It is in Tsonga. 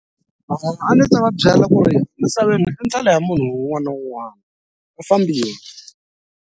A ni ta va byela ku ri misaveni i ndlela ya munhu un'wana na un'wana u fambile.